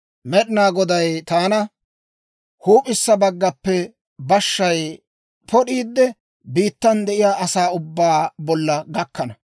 Med'inaa Goday taana, «Huup'issa baggappe bashshay pod'iide, biittan de'iyaa asaa ubbaa bolla gukkana.